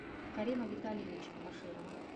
карима витальевича баширова